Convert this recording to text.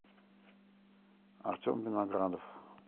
артем виноградов